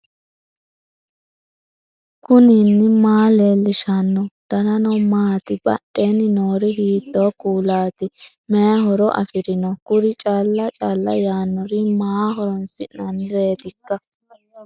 knuni maa leellishanno ? danano maati ? badheenni noori hiitto kuulaati ? mayi horo afirino ? kuri cala cala yaannori maaho horoonsi'nannireetikka